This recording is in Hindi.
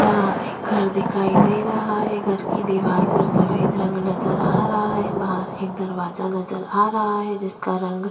यहाँ पर एक घर दिखाई दे रहा है घर की दिवार पर सफेद रंग नज़र आ रहा है बाहर एक दरवाजा नज़र आ रहा है जिसका रंग--